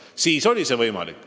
Siis oli see võimalik.